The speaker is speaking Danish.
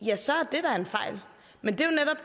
men